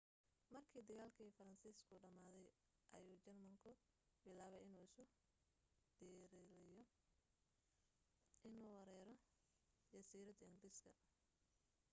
markii dagaalkii faransiisku dhamaaday ayuu jarmalku bilaabay inuu isu diyaariyo inuu weeraro jasiiradda ingiriiska